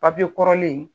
Papiye kɔrɔlen